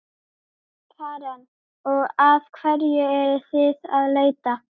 Karen: Og að hverju eruð þið að leita?